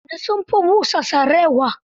Fulani sun fi busa sarewa.